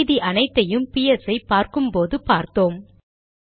மீதி அனைத்தையும் பிஎஸ் ஐ பார்க்கும் போதே பார்த்தோம்